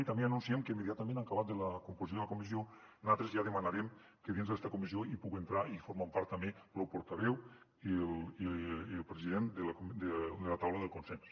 i també ja anunciem que immediatament en acabat de la composició de la comissió nosaltres ja demanarem que dins d’esta comissió hi puga entrar i formar ne part també lo portaveu i el president de la taula del consens